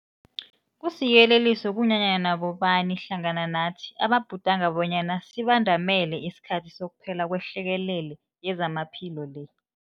Kusiyeleliso kunanyana bobani hlangana nathi ababhudanga bonyana sibandamele isikhathi sokuphela kwehlekelele yezamaphilo le.